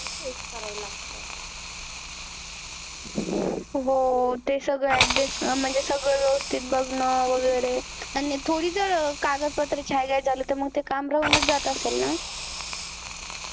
हो ते सगळ adjust म्हणजे सगळ वेवस्तीत बघणं वैगेरे आणि थोडं कागद पत्र छायगय झालं तर मग ते काम राहून च जात असेल ना